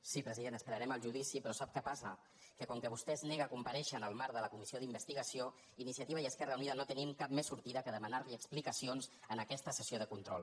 sí president esperarem al judici però sap què passa que com que vostè es nega a comparèixer en el marc de la comissió d’investigació iniciativa i esquerra unida no tenim cap més sortida que demanar·li ex·plicacions en aquesta sessió de control